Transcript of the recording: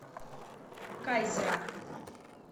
кайзера